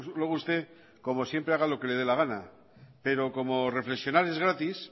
luego usted como siempre haga lo que le dé la gana pero como reflexionar es gratis